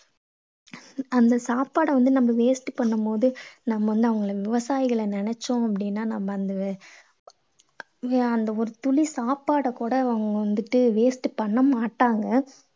அந்த சாப்பாட வந்து நம்ம waste பண்ணும் போது நம்ம வந்து அவங்ள விவசாயிகளை நினைச்சோம் அப்படீன்னா நம்ம அந்த அந்த ஒரு துளி சாப்பாட கூட அவங்க வந்துட்டு waste பண்ண மாட்டாங்க.